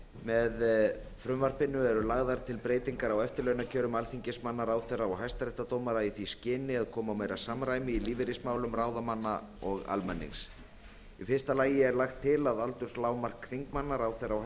með frumvarpinu eru lagðar til breytingar á eftirlaunakjörum alþingismanna ráðherra og hæstaréttardómara í því skyni að koma á meira samræmi í lífeyrismálum ráðamanna og almennings í fyrsta lagi er lagt til að aldurslágmark alþingismanna ráðherra og